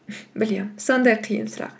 білемін сондай қиын сұрақ